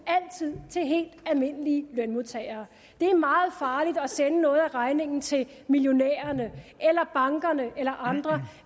til helt almindelige lønmodtagere det er meget farligt at sende noget af regningen til millionærerne eller bankerne eller andre